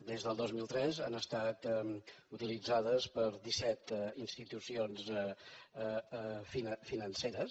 des del dos mil tres han estat utilitzades per disset institucions financeres